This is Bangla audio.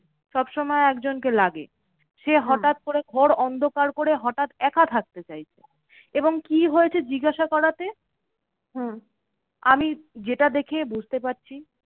সবসময় একজনকে লাগে সে হটাৎ করে ঘোর অন্ধকার করে হটাৎ একা থাকতে চাইছে। এবং কি হয়েছে? জিজ্ঞাসা করাতে আমি যেটা দেখে বুঝতে পারছি